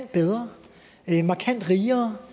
bedre markant rigere